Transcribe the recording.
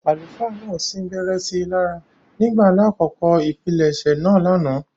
Àlùfáà náà sin-gbẹrẹ si lára ​​nígbà lakoko ipilẹsẹ̌ naa lánàá.